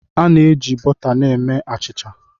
A na-eji bọta na-eme achịcha.